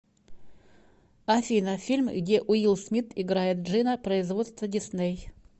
афина фильм где уилл смит играет джинна производство дисней